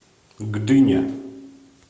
гдыня